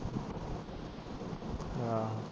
ਅੱਛਾ